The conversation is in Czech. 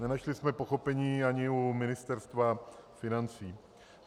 Nenašli jsme pochopení ani u Ministerstva financí.